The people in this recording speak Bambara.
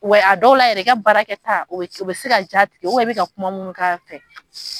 Wa a dɔw la yɛrɛ i ka baarakɛta o bɛ se ka diya a tigi ye ka kuma minnu k'a fɛ